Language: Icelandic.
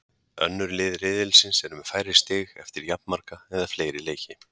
Önnur lið riðilsins eru með færri stig eftir jafnmarga eða fleiri leiki.